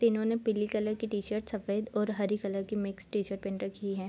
तीनों ने पीली कलर की टी-शर्ट सफ़ेद और हरी कलर की मिक्स टी-शर्ट पहन रखी है।